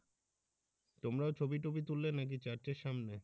তোমরাও ছবি টবি তুললে নাকি Church এর সামনে?